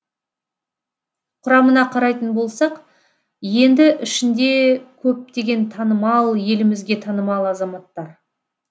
құрамына қарайтын болсақ енді ішінде көптеген танымал елімізге танымал азаматтар